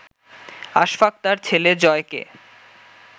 আশফাক তার ছেলে জয়কে